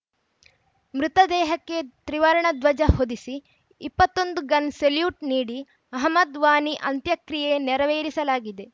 ಮೃತ ದೇಹಕ್ಕೆ ತಿವರ್ಣ ಧ್ವಜ ಹೊದೆಸಿ ಇಪ್ಪತ್ತ್ ಒಂದು ಗನ್‌ ಸೆಲ್ಯೂಟ್‌ ನೀಡಿ ಅಹಮದ್‌ ವಾನಿ ಅಂತ್ಯಕ್ರಿಯೆ ನೆರವೇರಿಸಲಾಗಿದೆ